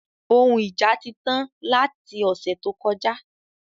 Òhun ija ti tán lati ọ̀sẹ̀ tó kọjá